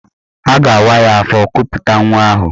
A ga-awa ya afọ kuputa nwa ahụ.